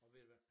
Og ved du hvad